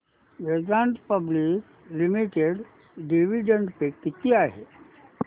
Vedanta public limited dividend pay किती आहे